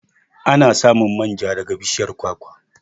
Ana samun manja daga bishiyar kwakwa.